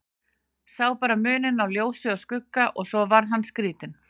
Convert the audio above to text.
Sá bara muninn á ljósi og skugga og svo varð hann skrítinn.